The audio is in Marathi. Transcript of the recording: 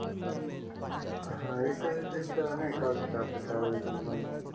हा याचात त्रिपत नाही का अजून काही आपल्या फॅमिली त्रिपत मध्ये